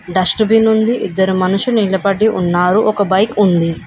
Dust bin ఉంది ఇద్దరు మనుషు నిలబడి ఉన్నారు ఒక బైక్ ఉంది.